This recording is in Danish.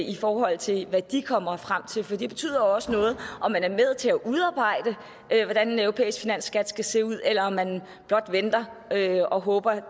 i forhold til hvad de kommer frem til for det betyder jo også noget og man er med til at udarbejde hvordan en europæisk finansskat skal se ud eller om man blot venter og håber at